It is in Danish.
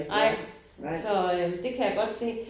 Nej så øh det kan jeg godt se